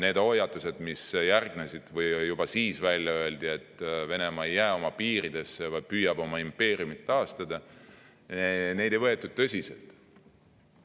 Neid hoiatusi, mis järgnesid või juba siis välja öeldi, et Venemaa ei jää oma piiridesse, vaid püüab oma impeeriumit taastada, ei võetud tõsiselt.